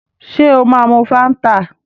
Ṣé ó máa mu Fáńtà?